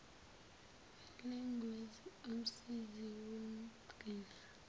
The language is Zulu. walengosi umsizi womgcini